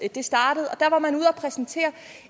startede at præsentere